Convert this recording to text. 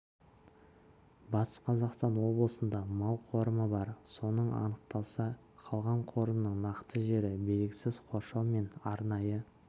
батыс қазақстан облысында мал қорымы бар соның анықталса қалған қорымның нақты жері белгісіз қоршау мен арнайы